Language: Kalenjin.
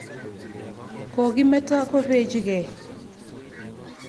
Kokimeto kopechikei.